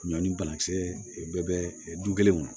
Ɲɔ ni banakisɛ bɛɛ bɛ du kelen kɔnɔ